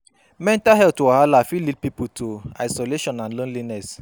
Mental health wahala fit lead pipo to isolation and loneliness